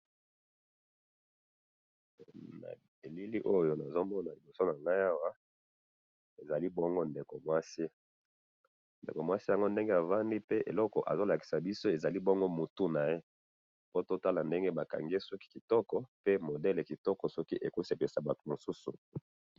Na elili oyo nazo mona liboso a ngai awa ezali bongo ndeko mwasi, ndeko mwasi ango ndenge avandi pe eloko azo lakisa ezali bongo mutu na ye.po totala ndenge bakangi ye suki kitoko pe modele kitoko soki ekosepelisa bato mosusu